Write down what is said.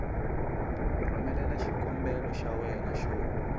rhumelela xikombelo xa wena xo